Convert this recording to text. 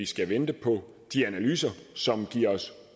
skal vente på de analyser som giver